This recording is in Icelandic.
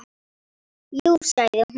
Jú sagði hún.